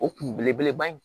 O kun belebeleba in